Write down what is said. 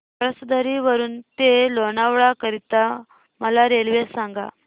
पळसधरी वरून ते लोणावळा करीता मला रेल्वे सांगा